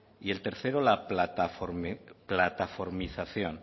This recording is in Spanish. y el tercero la plataformización